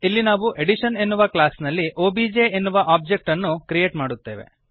ಇಲ್ಲಿ ನಾವು ಅಡಿಷನ್ ಎನ್ನುವ ಕ್ಲಾಸ್ ನಲ್ಲಿ ಒಬಿಜೆ ಎನ್ನುವ ಒಂದು ಒಬ್ಜೆಕ್ಟ್ ಅನ್ನು ಕ್ರಿಯೇಟ್ ಮಾಡುತ್ತೇವೆ